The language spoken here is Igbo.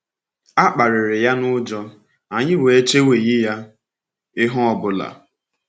“A kparịrị ya n’ụjọ, anyị wee cheweghị ya ihe ọ bụla.”